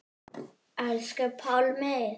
Elsku Pálmi.